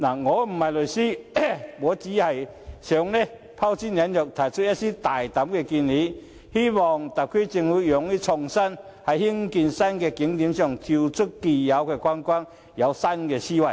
我想拋磚引玉，提出一些大膽的建議，希望特區政府勇於創作，在興建新景點時跳出既有的框框，採用新思維。